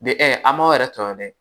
De ɛ am'aw yɛrɛ tɔɔrɔ dɛ